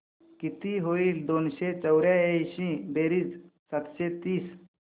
किती होईल दोनशे चौर्याऐंशी बेरीज सातशे तीस